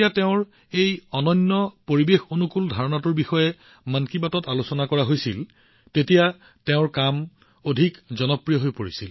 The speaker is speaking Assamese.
তেওঁৰ এই অনন্য পৰিৱেশঅনুকূল ধাৰণাটো মন কী বাতত আলোচনা কৰা হৈছিল আৰু তেওঁৰ কাম অধিক জনপ্ৰিয় হৈ পৰিছিল